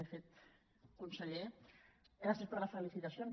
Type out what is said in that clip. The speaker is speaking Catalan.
de fet conseller gràcies per les felicitacions